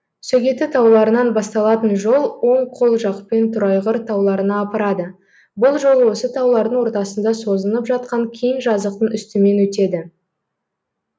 сөгеті тауларынан басталатын жол оң қол жақпен торайғыр тауларына апарады бұл жол осы таулардың ортасында созынып жатқан кең жазықтың үстімен өтеді